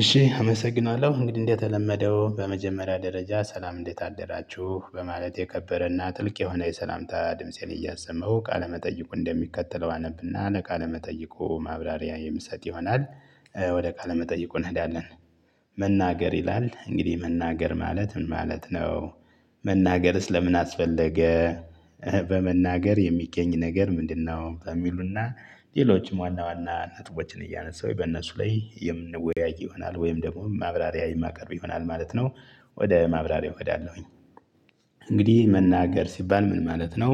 እሺ አመሰግናለሁ እንግዲህ እንደተለመደው በመጀመሪያ ደረጃ ሠላም እንዴት አደራችሁ በማለት የከበረና ጥልቅ የሆነ የሠላምታ ድምፄን እያሰመው ቃለመጠይቁ እንደሚከተለው አነብና ለቃለመጠይቁ ማብራሪያ የምሰጥ ይሆናል። ወደ ቃለ መጠይቁ እንሄዳለን። መናገር ይላል እንግዲህ መናገር ማለት ምን ማለት ነው? መናገርስ ለምን አስፈለገ? በመናገር የሚገኝ ነገር ምንድንነው? በሚሉ እና ሌሎችም ዋና ዋና ነጥቦችን እያነሳሁ በእነሱ ላይ የምንወያይ ይሆናል ወይም ደግሞ ማብራሪያ የማቀርብ ይሆናል ማለት ነው። ወደ ማብራሪያው እሄዳለሁኝ። እንግዲህ መናገር ሲባል ምን ማለት ነው?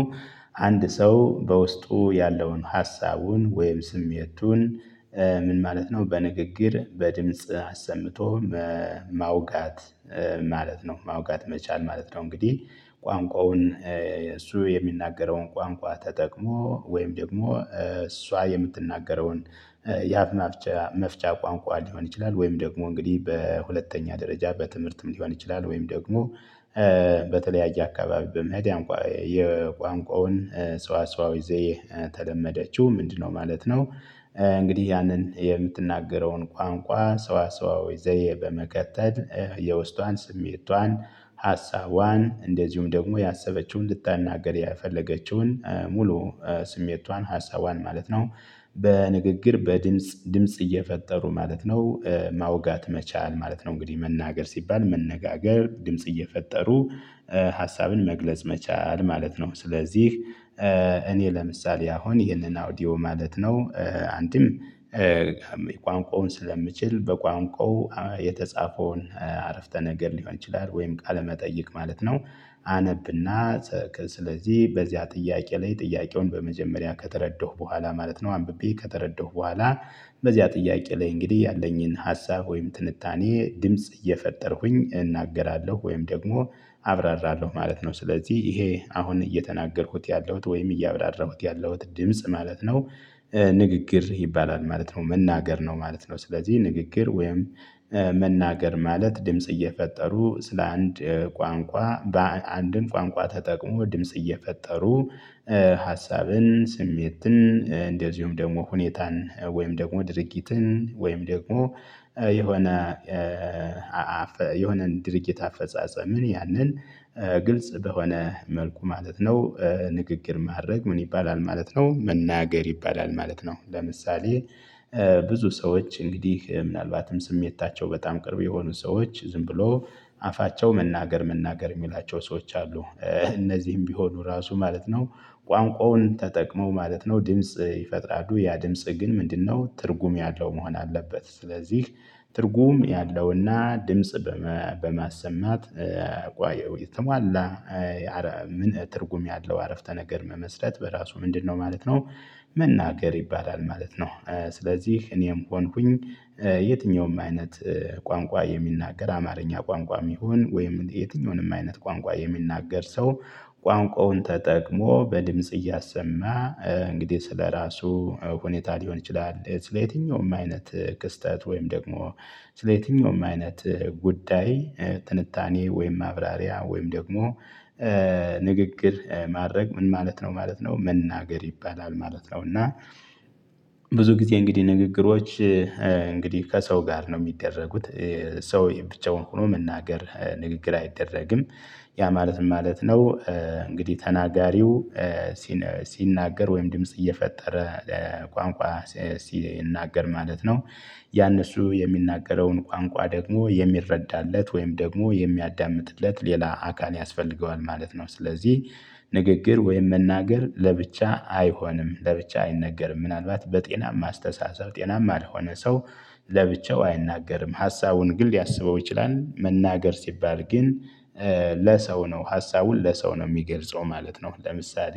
አንድ ሰው በውስጡ ያለውን ሐሳቡን ወይም ስሜቱን ምን ማለት ነው በንግግር በድምጽ አሰምቶ ማውጋት። ማለት ነው ማውጋት መቻል ማለት ነው። እንግዲህ ቋንቋውን እሱ የሚናገረውን ቋንቋ ተጠቅሞ ወይም ደግሞ እሷ የምትናገረውን የአፍ መፍቻ መፍቻ ቋንቋ ሊሆን ይችላል። ወይም ደግሞ እንግዲህ በሁለተኛ ደረጃ በትምህርትም ሊሆን ይችላል። ወይም ደግሞ በተለያየ አካባቢ በመሄድ ያንቋ የቋንቋውን ሰዋሰዋዊ ዘዬ ተለመደችው ምንድንነው ማለት ነው? እንግዲህ ያንን የምትናገረውን ቋንቋ ሰዋሰዋዊ ዘዬ በመቀጠል የውስጧን ስሜቷን ሐሳቧን እንደዚሁም ደግሞ ያሰበችውን ልትናገር የፈለገችውን ሙሉ ስሜቷን ሐሳቧን ማለት ነው። በንግግር በድምጽ ድምጽ እየፈጠሩ ማለት ነው። ማውጋት መቻል ማለት ነው እንግዲህ መናገር ሲባል መነጋገር ድምጽ እየፈጠሩ ሐሳብን መግለጽ መቻል ማለት ነው። ስለዚህ እኔ ለምሳሌ አሁን ይህንን አውዲዮ ማለት ነው። አንድም ቋንቋውን ስለምችል በቋንቋው የተጻፈውን ዓረፍተ ነገር ሊሆን ይችላል ወይም ቃለ መጠይቅ ማለት ነው። አነብና ጽከጽ ስለዚህ በዚያ ጥያቄ ላይ ጥያቄውን በመጀመሪያ ከተረዳሁ በኋላ ማለት ነው። አንብቤ ከተረዳሁ በኋላ በዚያ ጥያቄ ላይ እንግዲህ ያለኝን ሀሳብ ወይም ትንታኔ ድምጽ እየፈጠርኩኝ እናገራለሁ ወይም ደግሞ አብራራለሁ ማለት ነው። ስለዚህ ይሄ አሁን እየተናገርኩት ያለሁት ወይም እያብራራሁት ያለሁት ድምጽ ማለት ነው። ንግግር ይባላል ማለት ነው መናገር ነው ማለት ነው። ስለዚህ ንግግር ወይም መናገር ማለት ድምጽ እየፈጠሩ ስለ አንድ ቋንቋ በአንድን ቋንቋ ተጠቅሞ ድምጽ እየፈጠሩ ሐሳብን ስሜትን እንደዚሁም ደግሞ ሁኔታን ወይም ደግሞ ድርጊትን ወይም ደግሞ የሆነ አፈ የሆነን ድርጊት አፈጻጸምን ያንን ግልጽ በሆነ መልኩ ማለት ነው። ንግግር ማድረግ ምን ይባላል ማለት ነው? መናገር ይባላል ማለት ነው። ለምሳሌ ብዙ ሰዎች እንግዲህ ምናልባትም ስሜታቸው በጣም ቅርብ የሆኑ ሰዎች ዝም ብሎ አፋቸው መናገር መናገር የሚላቸው ሰዎች አሉ። እነዚህም ቢሆኑ ራሱ ማለት ነው። ቋንቋውን ተጠቅመው ማለት ነው ድምጽ ይፈጥሉ ያ ድምጽ ግን ምንድንነው ትርጉም ያለው መሆን አለበት። ስለዚህ ትርጉም ያለውና ድምጽ በመ በማሰማት ቋየው የተሟላ ኧረ ምን ትርጉም ያለው ዓረፍተ ነገር መመስረት በራሱ ምንድንነው ማለት ነው? መናገር ይባላል ማለት ነው። ስለዚህ እኔም ሆንኩኝ የትኛውም አይነት ቋንቋ የሚናገር አማርኛ ቋንቋም ይሁን ወይም የትኛውንም አይነት ቋንቋ የሚናገር ሰው ቋንቋውን ተጠቅሞ በድምጽ እያሰማ እንግዲህ ስለራሱ ሁኔታ ሊሆን ይችላል ስለየትኛውም አይነት ክስተት ወይም ደግሞ ስለየትኛውም አይነት ጉዳይ ትንታኔ ወይም ማብራሪያ ወይም ደግሞ ንግግር ማድረግ ምን ማለት ነው ማለት ነው መናገር ይባላል ማለት ነው። እና ብዙ ጊዜ እንግዲህ ንግግሮች እንግዲህ ከሰው ጋር ነው የሚደረጉት። ሰው የብቻውን ሆኖ መናገር ንግግር አይደረግም። ያ ማለት ምን ማለት ነው? እንግዲህ ተናጋሪው ሲነሲ ሲናገር ወይም ድምጽ እየፈጠረ ቋንቋ ሲ ሲናገር ማለት ነው። ያንን እሱ የሚናገረውን ቋንቋ ደግሞ የሚረዳለት ወይም ደግሞ የሚያዳምጥለት ሌላ አካል ያስፈልገዋል ማለት ነው። ስለዚህ ንግግር ወይም መናገር ለብቻ አይሆንም ለብቻ አይነገርም ምናልባት በጤናማ አስተሳሰብ ጤናማ ለሆነ ሰው ለብቻው አይናገርም ሐሳቡን ግል ሊያስበው ይችላል መናገር ሲባል ግን ለሰው ነው ሐሳቡን ለሰው ነው የሚገልጸው ማለት ነው። ለምሳሌ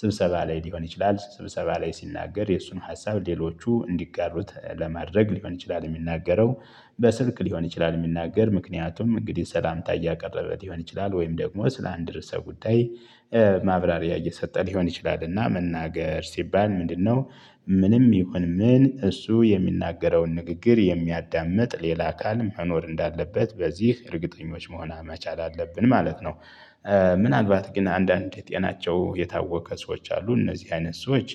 ስብሰባ ላይ ሊሆን ይችላል ስብሰባ ላይ ሲናገር የእሱን ሀሳብ ሌሎቹ እንዲጋሩት ለማድረግ ሊሆን ይችላል። የሚናገረው በስልክ ሊሆን ይችላል የሚናገር ምክንያቱም እንግዲህ ሠላምታ እያቀረበ ሊሆን ይችላል ወይም ደግሞ ስለ አንድ ርዕሰ ጉዳይ ማብራሪያ እየሰጠ ሊሆን ይችላልና መናገር ሲባል ምንድንነው? ምንም ይሁን ምን እሱ የሚናገረውን ንግግር የሚያዳምጥ ሌላ አካል መኖር እንዳለበት በዚህ እርግጠኞች መሆን መቻል አለብን ማለት ነው። ምናልባት ግን አንዳንዴ ጤናቸው የታወከ ሰዎች አሉ እነዚህ አይነት ሰዎች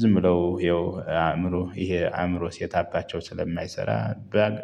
ዝም ብለው ያው አእምሮ ይሄ አእምሮ ሴታፓቸው ስለማይሰራ ባግ